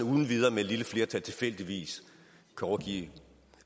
uden videre med et lille flertal tilfældigvis kan overgive